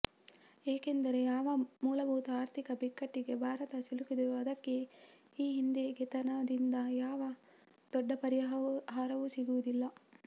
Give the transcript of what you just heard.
ಏಕೆಂದರೆ ಯಾವ ಮೂಲಭೂತ ಆರ್ಥಿಕ ಬಿಕ್ಕಟ್ಟಿಗೆ ಭಾರತ ಸಿಲುಕಿದೆಯೋ ಅದಕ್ಕೆ ಈ ಹಿಂದೆೆಗೆತದಿಂದ ಯಾವ ದೊಡ್ಡ ಪರಿಹಾರವೂ ಸಿಗುವುದಿಲ್ಲ